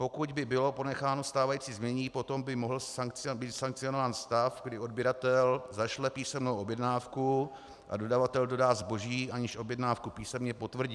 Pokud by bylo ponecháno stávající znění, potom by mohl být sankcionován stav, kdy odběratel zašle písemnou objednávku a dodavatel dodá zboží, aniž objednávku písemně potvrdí.